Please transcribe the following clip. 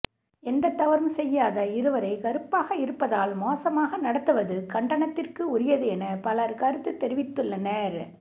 எந்த தவறும் செய்யாத இருவரை கருப்பாக இருப்பதால் மோசமாக நடத்துவது கண்டனத்திற்கு உரியது என பலர் கருத்து தெரிவித்துள்ளனர்